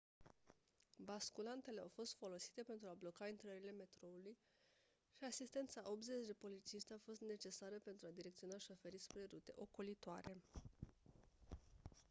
basculantele au fost folosite pentru a bloca intrările metroului și asistența a 80 de polițiști a fost necesară pentru a direcționa șoferii spre rute ocolitoare